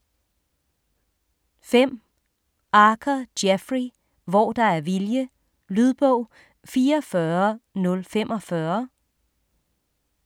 5. Archer, Jeffrey: Hvor der er vilje Lydbog 44045